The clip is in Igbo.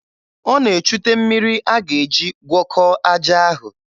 Ọ na-echute mmiri a ga-eji gwọkọọ aja ahụ.